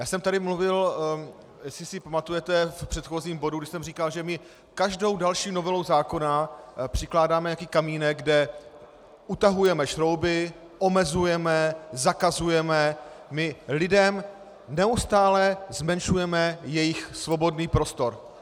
Já jsem tady mluvil, jestli si pamatujete v předchozím bodu, když jsem říkal, že my každou další novelou zákona přikládáme nějaký kamínek, kde utahujeme šrouby, omezujeme, zakazujeme, my lidem neustále zmenšujeme jejich svobodný prostor.